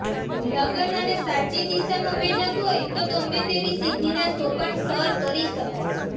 લગન અને સાચી દિશામાં મહેનત હોય તો ગમે તેવી સિદ્ધિના સોપાન સર કરી શકાય છે